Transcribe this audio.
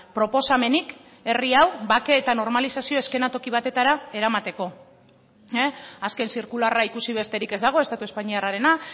proposamenik herri hau bake eta normalizazio eskenatoki batetara eramateko azken zirkularra ikusi besterik ez dago estatu espainiarrarena